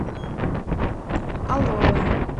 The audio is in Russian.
алоэ